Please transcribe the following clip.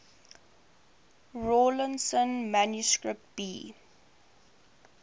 rawlinson manuscript b